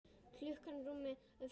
Klukkan rúmlega fjögur.